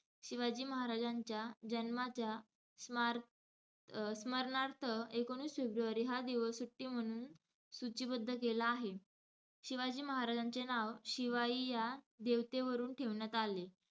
शिवाजी महाराजांच्या जन्माच्या स्मार~ स्मरणार्थ एकोणीस फेब्रुवारी हा दिवस सुट्टी म्हणून सूचीबद्ध केला आहे. शिवाजी महाराजांचे नाव शिवाई या देवतेवरून ठेवण्यात आले.